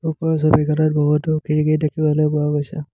ওপৰৰ ছবিখনত বহুতো খিৰিকী দেখিবলৈ পোৱা গৈছে।